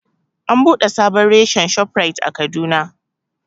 An buɗe sabon reshen Shoprite a Kaduna